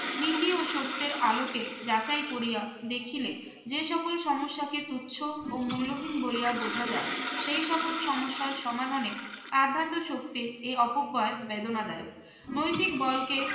নীতি ও সত্যের আলোকে যাচাই করিয়া দেখিলে যে সকল সমস্যাকে তুচ্ছ ও মূল্যহীন বলিয়া বোঝা যায় সেই সকল সমস্যার সমাধানে আধ্যাত্ম শক্তির এই অপব্যয় বেদনাদায়ক। নৈতিক বলকে